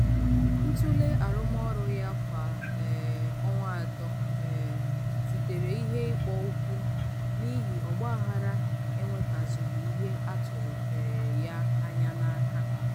ntule arụmọrụ ya kwa um ọnwa atọ um zutere ihe ịkpọ ụkwụ n'ihi ogbaaghara enwetazughi ihe atụrụ um ya anya n'aka